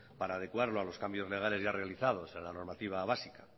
para adecuarlo a los cambios legales ya realizados en la normativa básica